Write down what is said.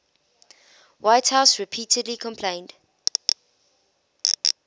whitehouse repeatedly complained